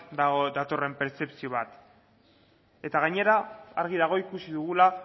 datorren pertzepzio bat gainera argi dago ikusi dugula